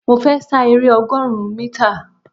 Mo fẹ́ sa eré ọgọrun mítà